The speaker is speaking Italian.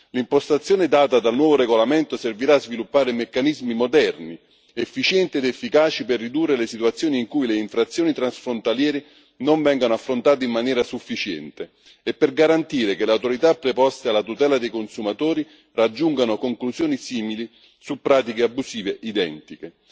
L'impostazione data dal nuovo regolamento servirà a sviluppare meccanismi moderni, efficienti ed efficaci per ridurre le situazioni in cui le infrazioni transfrontaliere non vengano affrontate in maniera sufficiente e per garantire che le autorità preposte alla tutela dei consumatori raggiungano conclusioni simili su pratiche abusive identiche.